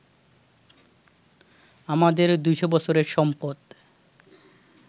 আমাদের ২০০ বছরের সম্পদ